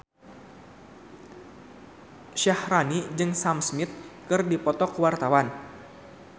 Syaharani jeung Sam Smith keur dipoto ku wartawan